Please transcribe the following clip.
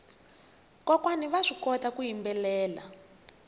kokwana vaswi kota ku yimbelela